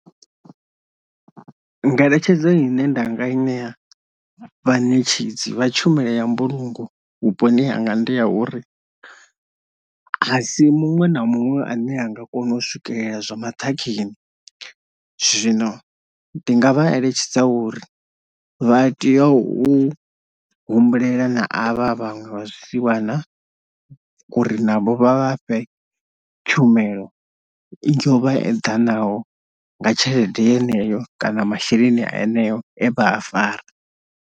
Ngeletshedzo ine nda nga i ṋea vhaṋetshedzi vha tshumelo ya mbulungo vhuponi hanga ndi ya uri asi muṅwe na muṅwe ane anga kona u swikelela zwa maṱhakheni, zwino ndi nga vha eletshedza uri vha tea u humbulela na avha vhaṅwe vha zwisiwana uri navho vha vha fhe tshumelo i yo vha eḓanaho nga tshelede yeneyo kana masheleni eneo e vha a fara